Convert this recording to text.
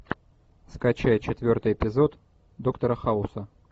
скачай четвертый эпизод доктора хауса